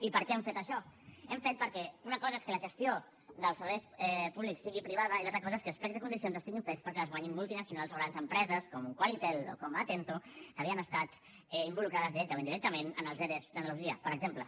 i per què hem fet això ho hem fet perquè una cosa és que la gestió dels serveis públics sigui privada i l’altra cosa és que els plecs de condicions estiguin fets perquè els guanyin multinacionals o grans empreses com qualytel o com atento que havien estat involucrades directament o indirectament en els ere d’andalusia per exemple